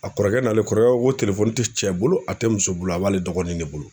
A kɔrɔkɛ n'ale kɔrɔkɛ ko ko te cɛ bolo, a te muso bolo a b'ale dɔgɔnin de bolo.